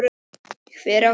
Hver á hana?